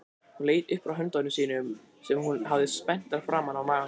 Hún leit upp frá höndum sínum sem hún hafði spenntar framan á maganum.